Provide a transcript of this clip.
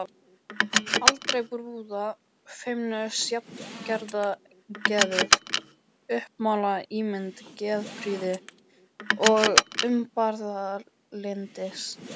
allra brúða feimnust, jafnaðargeðið uppmálað, ímynd geðprýði og umburðarlyndis.